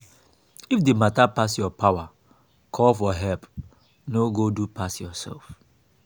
if di matter pass your power call for help no go do pass yourself